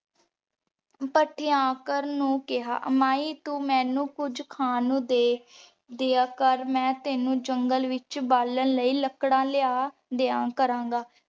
ਤਾਥ੍ਯਾਂਕਰ ਨੂ ਕੇਹਾ ਮਾਈ ਤੂ ਮੇਨੂ ਕੁਜ ਖਾਂ ਨੂ ਦੇ ਦਯਾ ਕਰ ਮੈਂ ਤੇਨੁ ਜੰਗਲੇ ਵਿਚੋਂ ਬਾਲਣ ਲੈ ਲੱਕੜਾ ਲਯਾ ਦਯਾ ਕਰਾਂਗਾ।